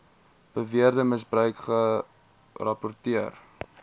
beweerde misbruik gerapporteer